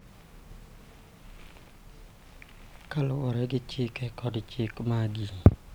Kaluwore gi chike kod chike maggi .